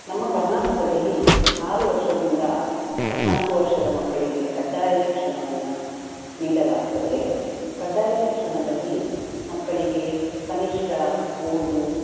ನಮ್ಮ ಕರ್ನಾಟಕದಲ್ಲಿ ಆರು ವರ್ಷದಿಂದ ಹದ್ನಾಕು ವರ್ಷದ ಮಕ್ಕಳಿಗೆ ಖಡ್ಡಾಯ ಶಿಕ್ಷಣವನ್ನ ನೀಡಲಾಗ್ತದೆ. ಖಡ್ಡಾಯ ಶಿಕ್ಷಣದಲ್ಲಿ ಮಕ್ಕಳಿಗೆ ಕನಿಷ್ಠ ಓದು.